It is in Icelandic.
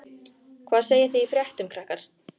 Hvað segið þið í fréttum, krakkar?